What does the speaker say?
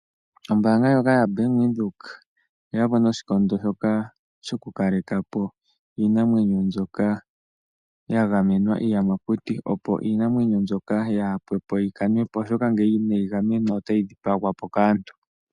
Ombanga ndjoka yaBank Windhoek oye yapo noshikondo shoka shoku kalekapo iinamwenyo mbyoka ya gamenwa iiyamakuti. Opo iinamwenyo mbyoka yaa pwepo yi kanepo. Oshoka ngele inayi gamenwa otayi dhipagwa po kaantu.